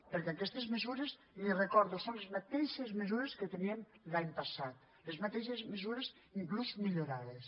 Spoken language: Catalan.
perquè aquestes mesures li ho recordo són les mateixes mesures que teníem l’any passat les mateixes mesures inclús millorades